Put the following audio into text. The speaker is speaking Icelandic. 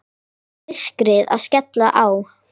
Og myrkrið að skella á.